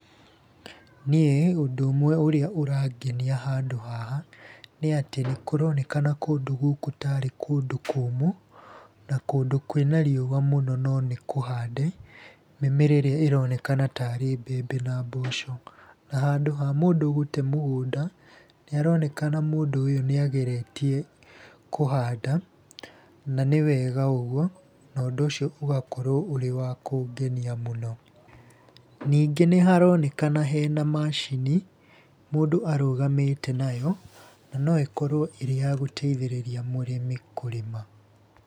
Niĩ, ũndũ ũmwe ũrĩa ũrangenia handũ haha, nĩ atĩ kũronekana kũndũ gũkũ tarĩ kũndũ kũmũ, na kũndũ kwĩ na riũa mũno no nĩ kũhande, mĩmera ĩrĩa ĩronekana tarĩ mbembe na mboco. Na handũ ha mũndũ gũte mũgũnda, nĩ arokenana mũndũ ũyũ nĩ agerĩtie, kũhanda. Na nĩ wega ũguo, na ũndũ ũcio ũgakorwo ũrĩ wa kũngenia mũno. Ningĩ nĩ haronekana hena macini, mũndũ arũgamĩte nayo, no nĩ ĩkorwo ĩrĩ ya gũteithĩrĩria mũrĩmi kũrĩma.